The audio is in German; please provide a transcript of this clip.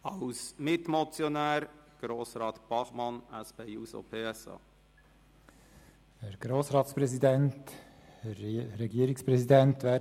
Als Mitmotionär hat Grossrat Bachmann von der SP-JUSO-PSA-Fraktion das Wort.